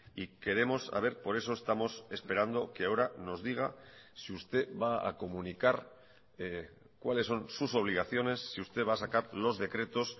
y queremos saber por eso estamos esperando que ahora nos diga si usted va a comunicar cuáles son sus obligaciones si usted va a sacar los decretos